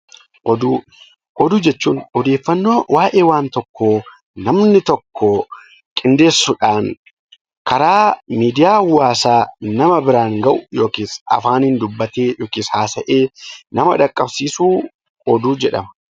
Oduu jechuun odeeffannoo waa'ee waan tokkoo namni tokko qindeessuudhaan karaa miidiyaa hawaasaa nama biraan gahu yookaan immoo afaaniin dubbatee yookaan immoo haasa'ee nama qaqqabsiisu oduu jedhama.